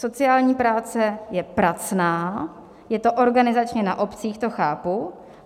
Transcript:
Sociální práce je pracná, je to organizačně na obcích, to chápu.